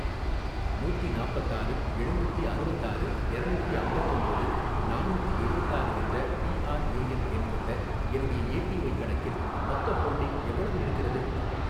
நூத்தி நாப்பத்தாறு எழுநூத்தி அறுவத்தாறு எரநூத்தி அம்பத்தொம்போது நானூத்தி எழுவத்தாறு என்ற பிஆர்ஏஎன் எண் கொண்ட என்னுடைய ஏபிஒய் கணக்கில் மொத்த ஹோல்டிங் எவ்வளவு இருக்கிறது?